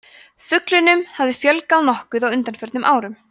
fuglunum hefur fjölgað nokkuð á undanförnum árum